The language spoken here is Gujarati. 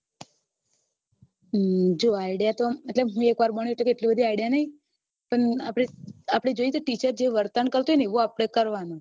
જો idea તો મતલબ હું એકવાર બની એટલી બધી idea નઈ પણ આપડે આપડે teacher જે વર્તન કરતું હોય એવું આપડે કરવાનું